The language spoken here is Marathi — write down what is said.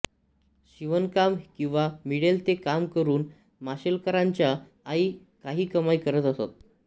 शिवणकाम किंवा मिळेल ते काम करून माशेलकरांच्या आई काही कमाई करत असत